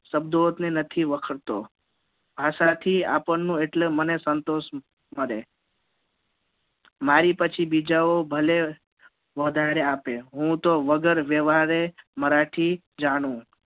શબ્દો થી નથી વખરતો ભાષા થી મને એટલે આપણને સંતોષ મળે મારી પછી બીજા ઓ ભલે વધારે આપે હુ તો વગર વ્યવહારે મરાઠી જાણું